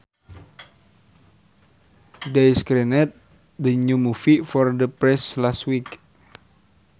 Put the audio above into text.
They screened the new movie for the press last week